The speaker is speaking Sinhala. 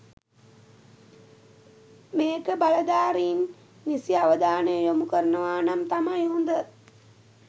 මේක බලධාරීන් නිසි අවධානය යොමු කරනවනම් තමයි හොඳ